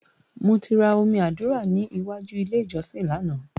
Mo ti ra omi àdúrà ní ìwájú ilé ìjọsìn lánàá.